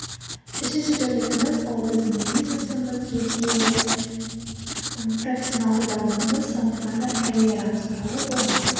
үшінші бөлігіміз ол біздің бизнесіміз жеке ым профессионалды дамуымыз сонымен қатар карьерамыз туралы болмақ